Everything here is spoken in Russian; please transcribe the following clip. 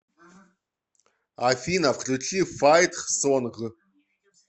афина включи файт сонг